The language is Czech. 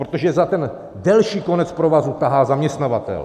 Protože za ten delší konec provazu tahá zaměstnavatel.